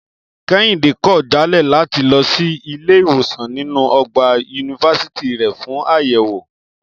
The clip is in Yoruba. Kẹ́hìndé kọ̀ jálẹ̀ láti lọ sí ilé ìwòsàn nínú ọgbà yunifásítì rẹ̀ fún àyẹ̀wò